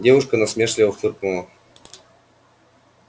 девушка насмешливо фыркнула